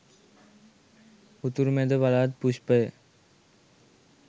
උතුරු මැද පළාත් පුෂ්පය